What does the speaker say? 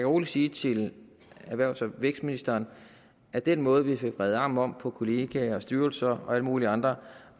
roligt sige til erhvervs og vækstministeren at den måde vi fik vredet armen om på kollegaer styrelser og alle mulige andre